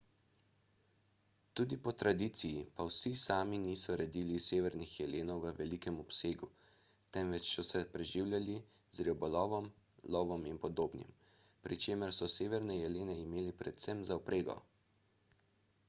tudi po tradiciji pa vsi sami niso redili severnih jelenov v velikem obsegu temveč so se preživljali z ribolovom lovom in podobnim pri čemer so severne jelene imeli predvsem za vprego